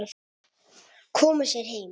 Koma sér heim.